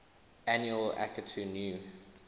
annual akitu new